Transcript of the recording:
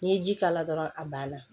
N'i ye ji k'a la dɔrɔn a banna